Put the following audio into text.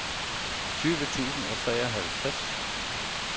tyve tusind og treoghalvtreds